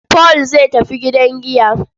Paul zai tafi gidan giya.